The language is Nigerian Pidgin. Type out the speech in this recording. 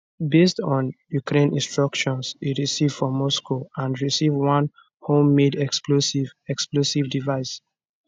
based on ukraine instructions e arrive for moscow and receive one homemade explosive explosive device